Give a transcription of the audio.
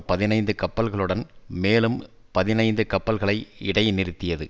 பதினைந்து கப்பல்களுடன் மேலும் பதினைந்து கப்பல்களை இடை நிறுத்தியது